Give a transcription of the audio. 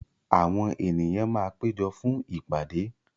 Àwọn ènìyàn máa péjọ fún ìpàdé.